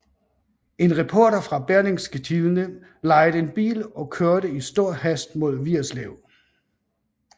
En reporter fra Berlingske Tidende lejede en bil og kørte i stor hast mod Vigerslev